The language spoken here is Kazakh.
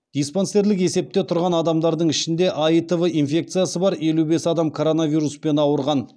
диспансерлік есепте тұрған адамдардың ішінде аитв инфекциясы бар елу бес адам коронавируспен ауырған